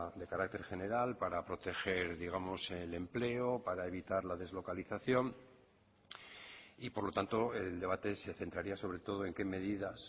de carácter general para proteger digamos el empleo para evitar la deslocalización y por lo tanto el debate se centraría sobre todo en qué medidas